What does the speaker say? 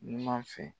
Numan fɛ